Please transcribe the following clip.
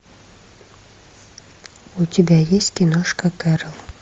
у тебя есть киношка кэрол